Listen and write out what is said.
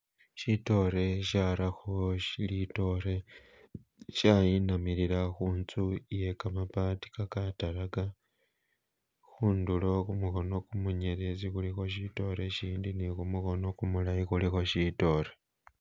Shitore shatakho litoore shayinamilila khuntsu iye gamabaati gagataraga khundulo khumukhono munyelezi khulikho shitore shindi ni khumukhono gumulayi kulikho shitore.